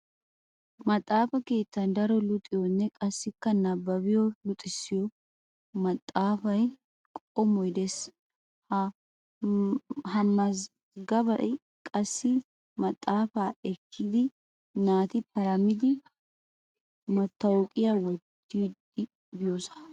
Maxxaafay keettan daro luxiyoonne qassikka nabbabiyonne luxissiyo maxxaafay qommoy des. Ha mazggabay qassi maxxaafaa ekkida naati paramidi mattawuqiya wottidi biyosa.